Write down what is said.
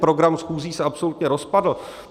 Program schůzí se absolutně rozpadl.